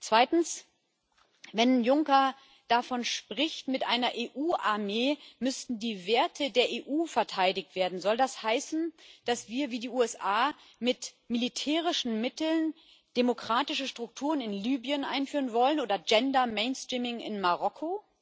Zweitens Wenn Juncker davon spricht, mit einer EU Armee müssten die Werte der EU verteidigt werden Soll das heißen, dass wir wie die USA mit militärischen Mitteln demokratische Strukturen in Libyen einführen wollen oder Gender Mainstreaming in Marokko?